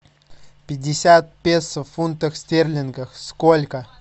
пятьдесят песо в фунтах стерлингов сколько